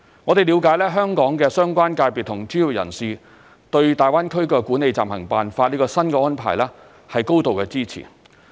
我們了解香港的相關界別和專業人士對大灣區《管理暫行辦法》這項新安排表示高度支持。